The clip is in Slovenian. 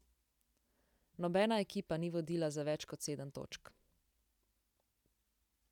Nobena ekipa ni vodila za več kot sedem točk.